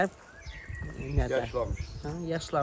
İndi də yaşlanmışıq.